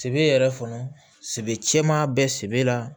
Sɛbɛ yɛrɛ fana sɛbɛ cɛman bɛ sɛbɛ la